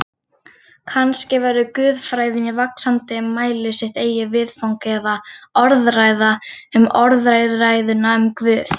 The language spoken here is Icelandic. Kannski verður guðfræðin í vaxandi mæli sitt eigið viðfang eða orðræða um orðræðuna um Guð.